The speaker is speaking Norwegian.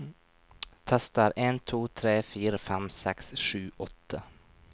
Tester en to tre fire fem seks sju åtte